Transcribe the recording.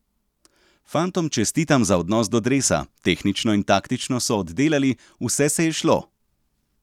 Fantom čestitam za odnos do dresa, tehnično in taktično so oddelali, vse se je izšlo.